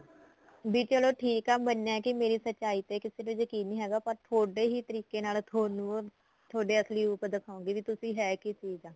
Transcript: ਵੀ ਚਲੋ ਠੀਕ ਆ ਮੰਨਿਆ ਕਿ ਮੇਰੀ ਸਚਾਈ ਤੇ ਕਿਸੇ ਨੂੰ ਯਕੀਣ ਨੀ ਹੈਗਾ ਤੁਹਾਡੇ ਹੀ ਤਰੀਕੇ ਨਾਲ ਤੁਹਾਨੂੰ ਤੁਹਾਡੇ ਅਸਲੀ ਰੂਪ ਦਿਖਾਉਗੀ ਵੀ ਤੁਸੀਂ ਹੈ ਕਿ ਚੀਜ਼ ਆ